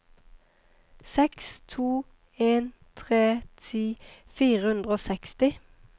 seks to en tre ti fire hundre og seksti